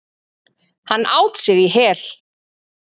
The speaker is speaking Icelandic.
Hann át sig í hel.